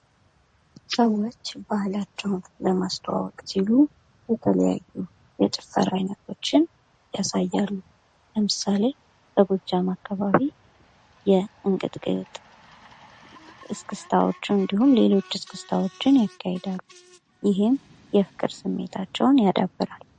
ሰዎች ባህላቸውን ለማስተዋወቅ ሲሉ የተለያዩ አይነት ጭፈራዎችን ያሳያሉ ለምሳሌ ፡- በጎጃም አካባቢ የእንቅጥቅጥ እስክስታዎችን እንዲሁም ሌሎች እስክስታዎችን ያካሄዳሉ። ይህም የፍቅር ስሜታቸውን ያዳብራል።